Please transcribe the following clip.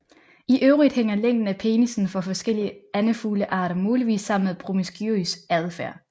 I øvrigt hænger længden af penisen for forskellige andefuglearter muligvis sammen med promiskuøs adfærd